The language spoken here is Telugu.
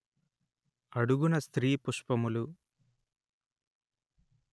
అడుగున స్త్రీ పుష్పములు